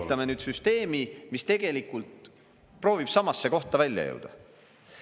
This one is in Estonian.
Me ehitame nüüd süsteemi, mis tegelikult proovib samasse kohta välja jõuda.